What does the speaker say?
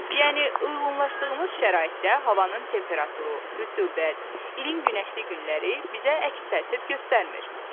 Yəni uyğunlaşdığımız şəraitdə havanın temperaturu, rütubət, ilin günəşli günləri bizə əks təsir göstərmir.